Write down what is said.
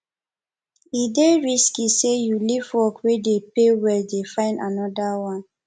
e dey risky sey you leave work wey dey pay well dey find anoda one